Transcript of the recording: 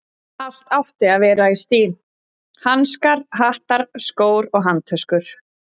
Allt átti að vera í stíl: hanskar, hattar, skór og handtöskur.